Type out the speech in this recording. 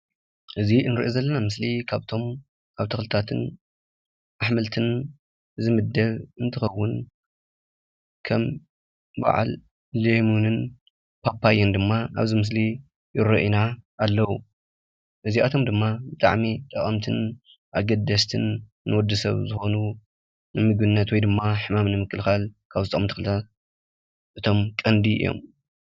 እዚ እንርእዮ ዘለና ምስሊ ካብቶም ኣብ ተኽልታትን ኣሕምልትን ዝምደብ እንትኸውን ከም በዓል ሎሚንን ፓፓዮን ድማ ኣብዚ ምስሊ ይረኣዩና ኣለው። እዚኣቶም ድማ ብጣዕሚ ጠቀምትን ኣገደሰትን ንወዲሰብ ዝኾኑ ንምግብነት ወይ ድማ ሕማም ንምክልኻል ካብ ዝጠቕሙ ተኽልታት እቶም ቀንዲ እዮም።